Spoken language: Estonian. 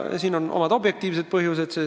Siin on omad objektiivsed põhjused.